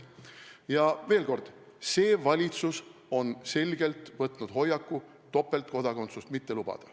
Aga veel kord: see valitsus on võtnud selge hoiaku topeltkodakondsust mitte lubada.